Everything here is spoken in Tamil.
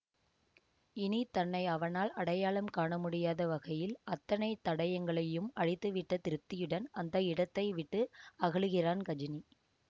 இனி தன்னை அவனால் அடையாளம் காண முடியாத வகையில் அத்தனை தடயங்களையும் அழித்து விட்ட திருப்தியுடன் அந்த இடத்தை விட்டு அகலுகிறான் கஜினி